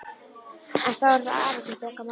En þá er það afi sem bjargar málunum.